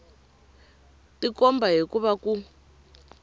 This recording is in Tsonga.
tikomba hi ku va ku